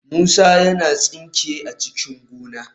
Musa yana tsinke a cikin gona."